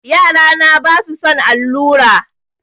Yarana basu son allura.